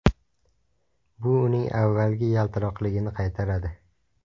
Bu uning avvalgi yaltiroqligini qaytaradi.